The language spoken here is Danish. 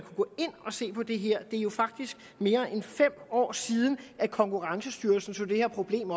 og se på det her det er jo faktisk mere end fem år siden konkurrencestyrelsen tog det her problem